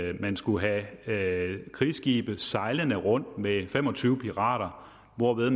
at man skulle have krigsskibe sejlende rundt med fem og tyve pirater hvorved